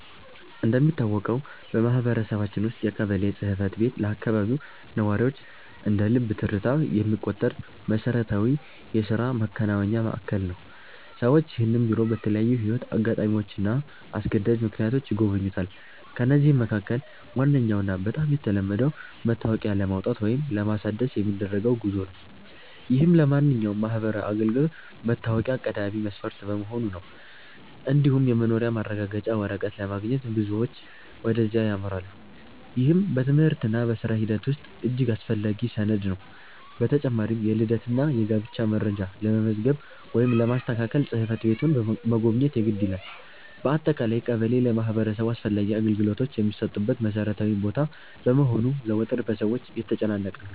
እንደሚታወቀው በማህበረሰባችን ውስጥ የቀበሌ ጽሕፈት ቤት ለአካባቢው ነዋሪዎች እንደ ልብ ትርታ የሚቆጠር መሠረታዊ የሥራ ማከናወኛ ማዕከል ነው። ሰዎች ይህንን ቢሮ በተለያዩ የሕይወት አጋጣሚዎችና አስገዳጅ ምክንያቶች ይጎበኙታል። ከነዚህም መካከል ዋነኛውና በጣም የተለመደው መታወቂያ ለማውጣት ወይም ለማሳደስ የሚደረገው ጉዞ ነው፤ ይህም ለማንኛውም ማህበራዊ አገልግሎት መታወቂያ ቀዳሚ መስፈርት በመሆኑ ነው። እንዲሁም የመኖሪያ ማረጋገጫ ወረቀት ለማግኘት ብዙዎች ወደዚያ ያመራሉ፤ ይህም በትምህርትና በሥራ ሂደት ውስጥ እጅግ አስፈላጊ ሰነድ ነው። በተጨማሪም የልደትና የጋብቻ መረጃ ለመመዝገብ ወይም ለማስተካከል ጽሕፈት ቤቱን መጎብኘት የግድ ይላል። በአጠቃላይ ቀበሌ ለማህበረሰቡ አስፈላጊ አገልግሎቶች የሚሰጡበት መሠረታዊ ቦታ በመሆኑ ዘወትር በሰዎች የተጨናነቀ ነው።